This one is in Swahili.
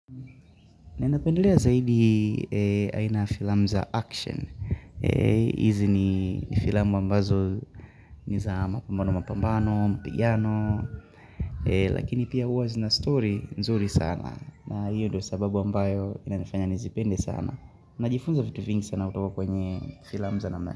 Ninapendelea zaidi aina ya filamu za action. Hizi ni filamu ambazo ni za mapambano mapambano, mapigano. Lakini pia huwa zina story nzuri sana. Na hiyo ndio sababu ambayo inanifanya nizipende sana. Najifunza vitu vingi sana kutoka kwenye filamu za namna.